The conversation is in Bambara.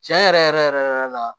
Tiɲɛ yɛrɛ yɛrɛ yɛrɛ la